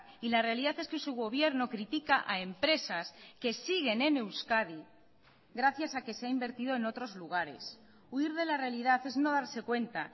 y la realidad es que su gobierno critica a empresas que siguen en euskadi gracias a que se ha invertido en otros lugares huir de la realidad es no darse cuenta